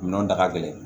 Minɛnw ta ka gɛlɛn